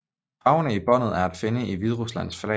Farverne i båndet er at finde i Hvideruslands flag